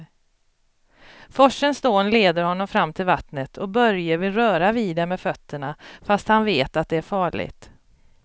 Forsens dån leder honom fram till vattnet och Börje vill röra vid det med fötterna, fast han vet att det är farligt.